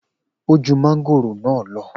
O ju màngòrò naa lọ.